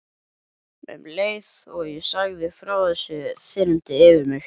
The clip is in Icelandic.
Um leið og ég sagði frá þessu þyrmdi yfir mig.